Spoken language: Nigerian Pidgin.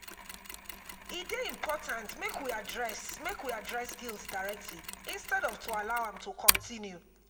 e dey important make we address make we address guilt directly instead of to allow am to continue.